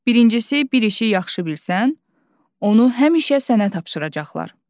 Birincisi, bir işi yaxşı bilsən, onu həmişə sənə tapşıracaqlar.